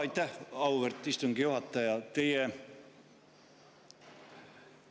Aitäh, auväärt istungi juhataja!